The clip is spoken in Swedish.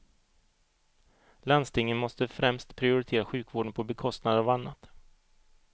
Landstingen måste främst prioritera sjukvården på bekostnad av annat.